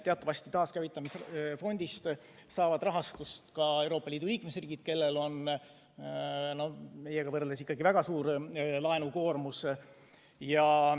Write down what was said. Teatavasti taaskäivitamise fondist saavad rahastust ka Euroopa Liidu liikmesriigid, kellel on meiega võrreldes väga suur laenukoormus.